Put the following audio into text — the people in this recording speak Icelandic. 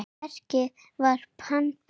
Verkið var pantað.